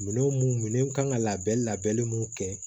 Minɛn mun minɛn kan ka labɛn labɛn mun kɛ